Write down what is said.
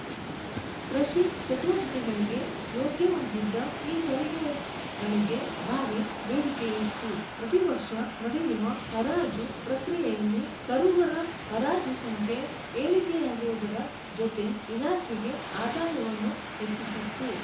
ಕೃಷಿ ಚಟುವಟಿಕೆಗಳಿಗೆ ಯೋಗ್ಯವಾಗಿದ್ದ ಈ ತಳಿಗೆಗಳಿಗೆ ಭಾರಿ ಬೇಡಿಕೆಯಿತ್ತು ಪ್ರತಿ ವರ್ಷ ನಡೆಯುವ ಹರಾಜು ಪ್ರಕ್ರಿಯೆಯಲ್ಲಿ ಕರುಗಳ ಹರಾಜು ಸಂಖ್ಯೆ ಏರಿಕೆಯಾಗುವುದರ ಜೊತೆ ಇಲಾಖೆಗೆ ಆದಾಯವನ್ನು ಹೆಚ್ಚಿಸಿತ್ತು